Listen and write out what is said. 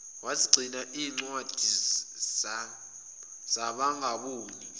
wezigcina zincwadi zabangaboni